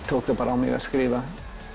tók það bara á mig að skrifa